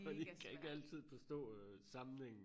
For de kan ikke altid forstå øh sammenhængen